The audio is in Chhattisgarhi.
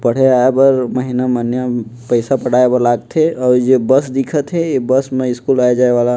पढ़े आये बार महिना-महिना म पैसा पटाये बर लागथे और जो ये बस दिखत हे ये बस म स्कूल आय जाय वाला --